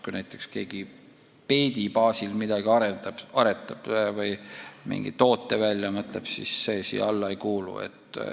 Kui näiteks keegi peedi baasil midagi aretab või mingi toote välja mõtleb, siis see siia alla ei kuulu.